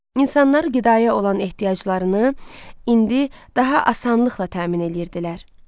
İnsanlar qidaya olan ehtiyaclarını indi daha asanlıqla təmin eləyirdilər.